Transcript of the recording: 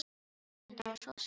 En það var svo sem satt.